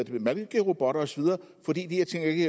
malkerobotter osv fordi de her ting ikke